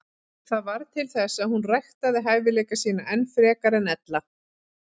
Það varð til þess að hún ræktaði hæfileika sína enn frekar en ella.